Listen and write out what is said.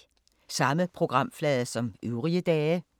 Samme programflade som øvrige dage